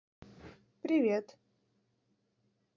привет